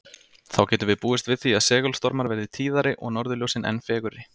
Þá getum við búist við því að segulstormar verði tíðari og norðurljósin enn fegurri.